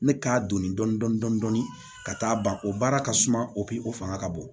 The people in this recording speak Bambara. Ne k'a donni dɔni dɔni dɔni dɔni ka taa ban o baara ka suma o fanga ka bon